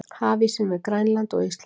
Hafísinn við Grænland- og Ísland